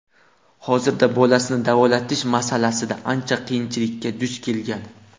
Hozirda bolasini davolatish masalasida ancha qiyinchilikka duch kelgan.